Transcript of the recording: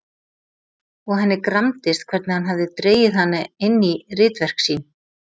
Og henni gramdist hvernig hann hafði dregið hana inn í ritverk sín.